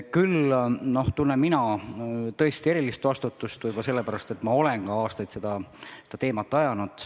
Küll tunnen mina tõesti erilist vastutust võib-olla sellepärast, et ma olen aastaid seda teemat ajanud.